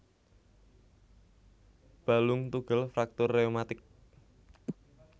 Balung tugel fraktur rheumatik